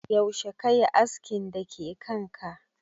Yaushe kayi askin da ke kanka?